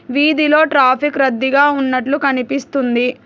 వీధిలో ట్రాఫిక్ రద్దీగా ఉన్నట్లు కనిపిస్తుంది.